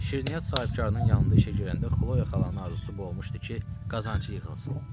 Şirniyyat sahibkarının yanında işə girəndə Xloya xalanın arzusu bu olmuşdu ki, qazancı yığılsın.